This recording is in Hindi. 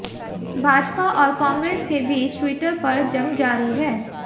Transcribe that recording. भाजपा और कांग्रेस के बीच ट्विटर पर जंग जारी है